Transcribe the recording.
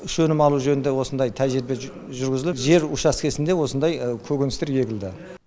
үш өнім алу жөнінде осындай тәжірибе жүргізіліп жер учаскісінде осындай көкөністер егілді